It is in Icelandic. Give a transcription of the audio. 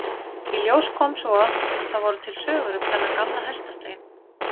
Í ljós kom svo að það voru til sögur um þennan gamla hestastein.